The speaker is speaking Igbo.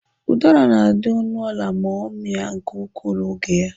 Ụdara na-adị ọnụ ala ma ọ mịa nke ukwuu n'oge ya.